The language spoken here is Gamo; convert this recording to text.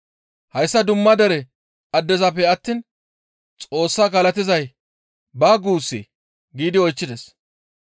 Hayssa dumma dere addezappe attiin Xoossa galatizay baa guussee?» giidi oychchides.